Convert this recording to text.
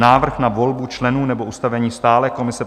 Návrh na volbu členů nebo ustavení stálé komise